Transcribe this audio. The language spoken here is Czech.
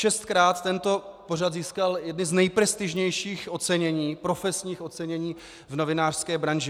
Šestkrát tento pořad získal jedny z nejprestižnějších ocenění, profesní ocenění v novinářské branži.